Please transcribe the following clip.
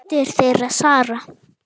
Dóttir þeirra: Sara.